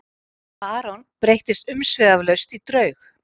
Aron breyttist umsvifalaust í draug.